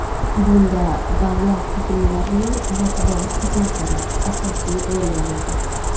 Bunda davlat tuzilmalarining matbuot xizmatlari asosiy rol o‘ynaydi.